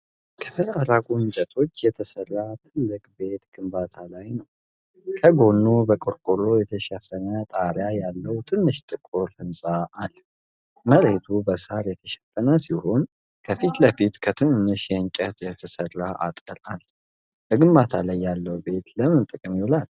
ከተራራቁ እንጨቶች የተሰራ ትልቅ ቤት ግንባታ ላይ ነው። ከጎኑ በቆርቆሮ የተሸፈነ ጣሪያ ያለው ትንሽ ጥቁር ህንፃ አለ። መሬቱ በሣር የተሸፈነ ሲሆን ከፊት ለፊት ከትንንሽ እንጨቶች የተሰራ አጥር አለ። በግንባታ ላይ ያለው ቤት ለምን ጥቅም ይውላል?